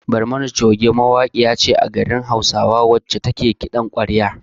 "Barmani choge" mawaƙiya ce a garin hausa wacce take kiɗan kwarya.